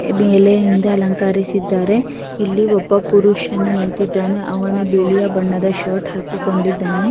ಎಲೆಯಿಂದ ಅಲಂಕರಿಸಿದ್ದಾರೆ ಇಲ್ಲಿ ಒಬ್ಬ ಪುರುಷನು ನಿಂತಿದಾನೆ ಅವನು ಬಿಳಿಯ ಬಣ್ಣದ ಶರ್ಟ್ ಹಾಕಿಕೊಂಡಿದ್ದಾನೆ.